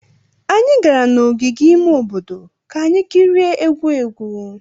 Anyị gara n'ogige ime obodo ka anyị kirie egwu egwu.